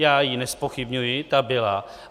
Já ji nezpochybňuji, ta byla.